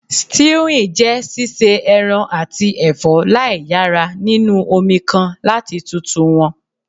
Stewing je sise eran ati ẹfọ laiyara ninu omi kan lati tutu wọn